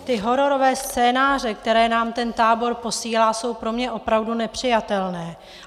Ty hororové scénáře, které nám ten tábor posílá, jsou pro mě opravdu nepřijatelné.